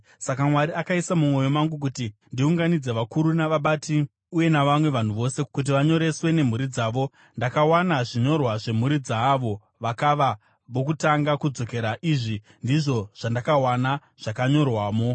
Saka Mwari akaisa mumwoyo mangu kuti ndiunganidze vakuru navabati uye navamwe vanhu vose kuti vanyoreswe nemhuri dzavo. Ndakawana zvinyorwa zvemhuri dzaavo vakava vokutanga kudzokera. Izvi ndizvo zvandakawana zvakanyorwamo: